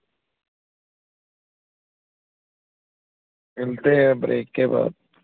ਮਿਲਤੇ ਹੈ break ਕੇ ਬਾਦ।